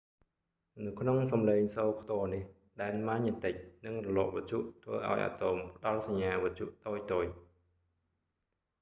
នៅក្នុងសំឡេងសូរខ្ទរនេះ ដែនម៉ាញេទិក និងរលកវិទ្យុធ្វើឱ្យអាតូមផ្តល់សញ្ញាវិទ្យុតូចៗ